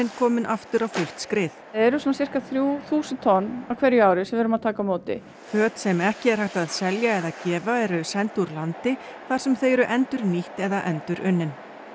komin aftur á fullt skrið eru sirka þrjú þúsund tonn á hverju ári sem við erum að taka á móti föt sem ekki er hægt að selja eða gefa eru send úr landi þar sem þau eru endurnýtt eða endurunnin